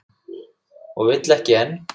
Og vill ekki enn.